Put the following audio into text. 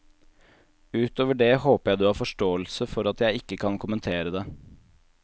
Utover det håper jeg du har forståelse for at jeg ikke kan kommentere det.